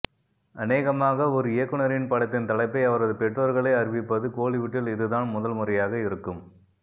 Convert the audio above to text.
அனேகமாக ஒரு இயக்குனரின் படத்தின் தலைப்பை அவரது பெற்றோர்களே அறிவிப்பது கோலிவுட்டில் இதுதான் முதல்முறையாக இருக்கும்